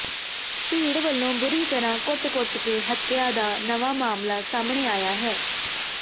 ਭੀੜ ਵੱਲੋਂ ਬੁਰੀ ਤਰ੍ਹਾਂ ਕੁੱਟ ਕੁੱਟ ਕੇ ਹੱਤਿਆ ਦਾ ਨਵਾਂ ਮਾਮਲਾ ਸਾਹਮਣੇ ਆਇਆ ਹੈ